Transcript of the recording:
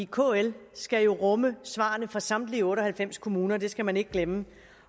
kl skal jo rumme svarene fra samtlige otte og halvfems kommuner det skal man ikke glemme